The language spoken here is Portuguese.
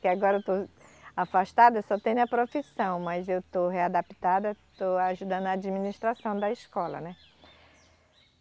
Que agora eu estou afastada, só tenho a profissão, mas eu estou readaptada, estou ajudando a administração da escola, né?